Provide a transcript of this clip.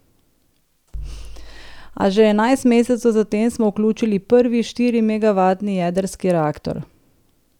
A že enajst mesecev za tem smo vključili prvi štiri megavatni jedrski reaktor.